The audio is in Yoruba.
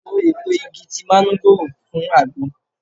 Lo èpo igi ti manugoro fún agbo.